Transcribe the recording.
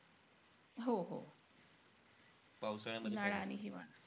हो-हो. उन्हाळा आणि हिवाळा.